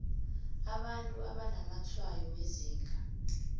abantu abanamatshwayo wezinga